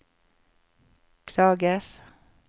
klages